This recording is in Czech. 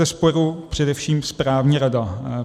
Bezesporu především správní rada.